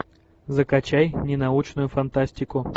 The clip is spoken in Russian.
закачай ненаучную фантастику